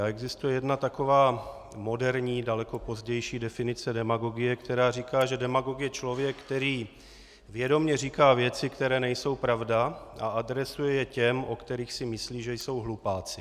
A existuje jedna taková moderní, daleko pozdější definice demagogie, která říká, že demagog je člověk, který vědomě říká věci, které nejsou pravda, a adresuje je těm, o kterých si myslí, že jsou hlupáci.